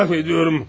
İtiraf edirəm!